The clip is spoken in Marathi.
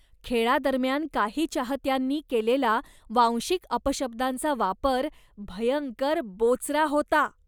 खेळादरम्यान काही चाहत्यांनी केलेला वांशिक अपशब्दांचा वापर भयंकर बोचरा होता.